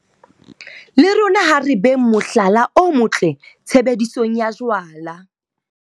Le rona ha re beng mohlala o motle tshebedisong ya jwala.